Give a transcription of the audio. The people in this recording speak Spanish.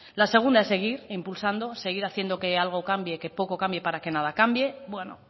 la segunda es seguir impulsando seguir haciendo que algo cambie que poco cambie para que nada cambie bueno